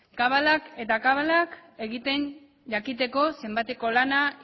kabalak eta kabalak egiten jakiteko zenbateko lana